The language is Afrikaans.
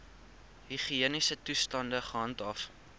higiëniese toestande gehandhaaf